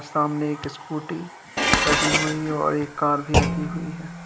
सामने एक स्कूटी खड़ी हुई और एक कार भी रखी हुई है।